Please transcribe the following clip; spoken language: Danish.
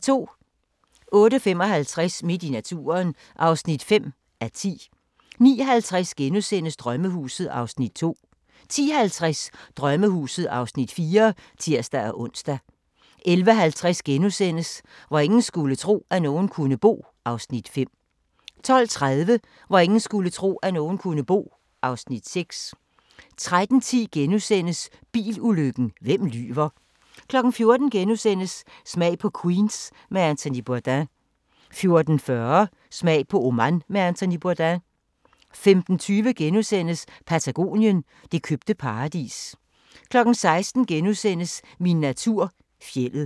08:55: Midt i naturen (5:10) 09:50: Drømmehuset (Afs. 2)* 10:50: Drømmehuset (Afs. 4)(tir-ons) 11:50: Hvor ingen skulle tro, at nogen kunne bo (Afs. 5)* 12:30: Hvor ingen skulle tro, at nogen kunne bo (Afs. 6) 13:10: Bilulykken – hvem lyver? * 14:00: Smag på Queens med Anthony Bourdain * 14:40: Smag på Oman med Anthony Bourdain 15:20: Patagonien – det købte paradis * 16:00: Min natur - fjeldet *